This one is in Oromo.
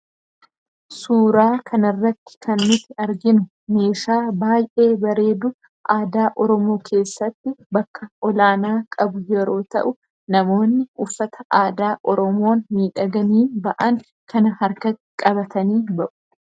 Suuraa kana irratti kan nuti arginu meeshaa baay'ee bareedu aadaa oromoo keessatti bakka olaanaa qabu yeroo ta'u namoonni uffata aadaa oromoon miidhaganii ba'an kana harka qabatanii ba'u.